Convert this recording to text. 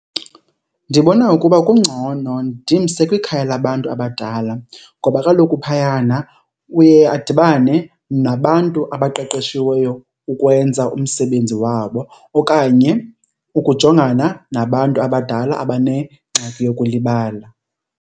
Ndibona ukuba kungcono ndimse kwikhaya labantu abadala ngoba kaloku phayana uye adibane nabantu abaqeqeshiweyo ukwenza umsebenzi wabo okanye ukujongana nabantu abadala abanengxaki yokulibala.